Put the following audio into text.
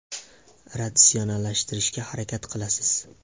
Ratsionallashtirishga harakat qilasiz.